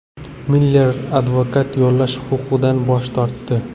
Miller advokat yollash huquqidan bosh tortdi.